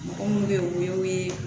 Mɔgɔ munnu be yen o y'o ye